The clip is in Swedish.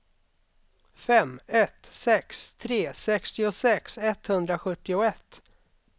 fem ett sex tre sextiosex etthundrasjuttioett